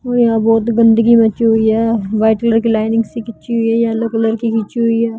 और यहाँ बहोत गंदगी मची हुई हैं वाइट कलर की लाइनिंग से खींची हुई है येलो कलर की खींची हुई है।